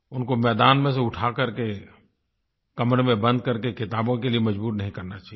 उनको मैदान में से उठा करके कमरे में बंद करके किताबों के लिए मजबूर नहीं करना चाहिए